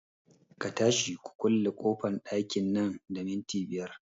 Ka tashi ku kulle ƙofan ɗakin nan da minti biyar